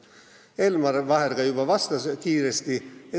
Elmar Vaher juba kiiresti vastas.